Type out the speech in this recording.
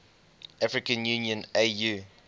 african union au